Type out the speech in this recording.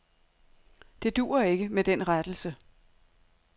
Det duer ikke med den rettelse.